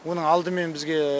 оның алдымен бізге